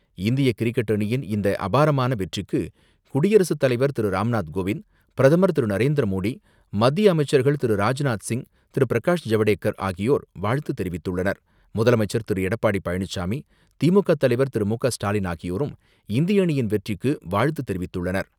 இந்திய கிரிக்கெட் அணியின் இந்த அபாரமான வெற்றிக்கு குடியரசுத் தலைவர் திரு ராம்நாத் கோவிந்த், பிரதமர் திரு நரேந்திர மோடி, மத்திய அமைச்சர்கள் திரு ராஜ்நாத் சிங், திரு பிரகாஷ் ஜவடேகர், ஆகியோர் வாழ்த்து தெரிவித்துள்ளனர். முதலமைச்சர் திரு எடப்பாடி பழனிசாமி, திமுக தலைவர் திரு மு க ஸ்டாலின் ஆகியோரும் இந்திய அணியின் வெற்றிக்கு வாழ்த்து தெரிவித்துள்ளனர்.